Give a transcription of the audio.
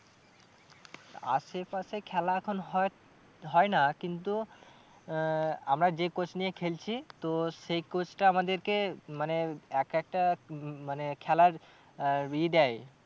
আশে পাশে খেলা এখন হয়, হয় না কিন্তু আহ আমরা যে coach নিয়ে খেলছি তো সেই coach টা আমাদেরকে মানে এক একটা উম মানে খেলার আহ এ দেয়।